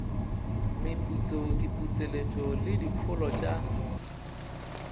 meputso diputseletšo le dikholo tša